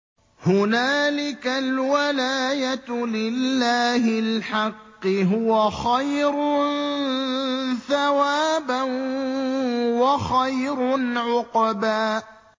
هُنَالِكَ الْوَلَايَةُ لِلَّهِ الْحَقِّ ۚ هُوَ خَيْرٌ ثَوَابًا وَخَيْرٌ عُقْبًا